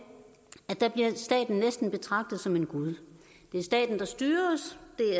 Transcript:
staten næsten bliver betragtet som en gud det er staten der styrer